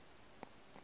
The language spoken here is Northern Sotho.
se ke wa fšega go